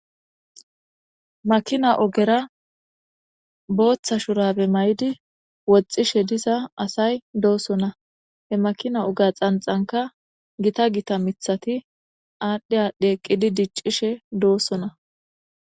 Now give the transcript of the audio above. Makina ogera booththa shurabe may7idi woxxishe diza asay doosona he makina oga xanxanka gita gita mithati aadhdhe adheqqidi diccishe doossona.